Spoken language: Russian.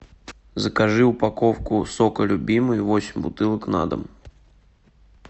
закажи упаковку сока любимый восемь бутылок на дом